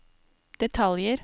detaljer